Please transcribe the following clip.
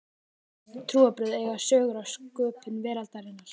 flest trúarbrögð eiga sögur af sköpun veraldarinnar